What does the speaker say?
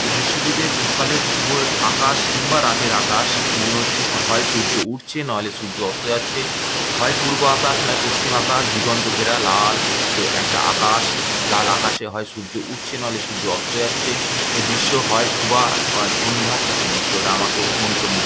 এই দৃশ্যটিতে সকালের শুভর আকাশ কিংবা রাতের আকাশ মনে হচ্ছে হয় সূর্য উঠছে নইলে সূর্য অস্ত্র যাচ্ছে। হয় পূর্ব আকাশ নয় পশ্চিম আকাশ দিগন্ত ঘেরা লাল একটা আকাশ লাল আকাশে হয় সূর্য উঠছে নইলে অস্ত্র যাচ্ছে এই দৃশ্য হয় সুভা অর সন্ধ্যা এই দৃশ্যটা আমাকে মন্ত্রমুগ--